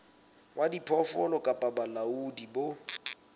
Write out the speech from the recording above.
wa diphoofolo kapa bolaodi bo